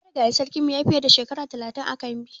Marigayin sarkin mu ya yi fiye da Shekara talatin ã kambi.